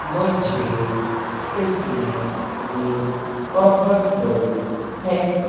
मुझे इसमें एक बहुत बड़ी फैक्ट्री --